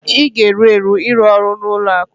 ị ga-eru eru ịrụ ọrụ na ụlọ akụ